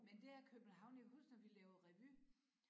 Men det er København jeg kan huske da vi lavede revy